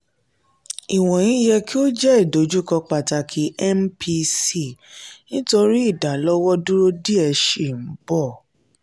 "iwọnyi yẹ ki o jẹ idojukọ pataki mpc nitori idalọwọduro diẹ sii n bọ."